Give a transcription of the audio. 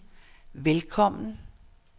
velkommen